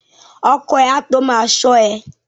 Ọkọ ẹ a tó ma ṣọ́ ẹ.